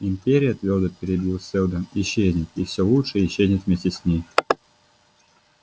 империя твёрдо перебил сэлдон исчезнёт и всё лучшее исчезнет вместе с ней